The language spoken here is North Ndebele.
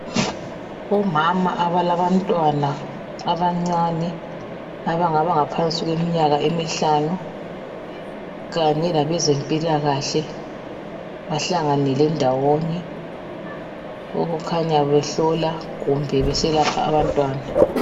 Omama abalabantwana abancane abangaba ngaphansi kweminyaka emihlanu kanye labezempilakahle. Bahlanganele ndawonye. Okukhanya behlola kumbe beselapha abantwana.